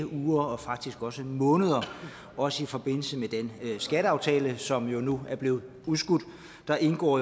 uger og faktisk også måneder også i forbindelse med den skatteaftale som nu er blevet udskudt der indgår